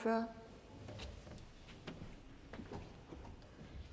for det